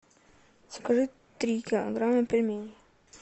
закажи три килограмма пельменей